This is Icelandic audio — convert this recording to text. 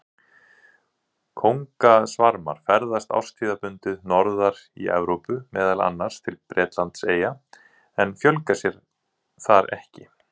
Kóngasvarmar ferðast árstíðabundið norðar í Evrópu, meðal annars til Bretlandseyja, en fjölga sér þar ekki.